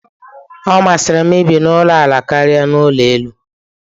Ọ masịrị m ibi na ulo ala karia ebi n'ụlọ elu.